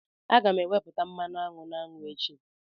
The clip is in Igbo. M ga-ewepụta mmanụ aṅụ na aṅụ echi.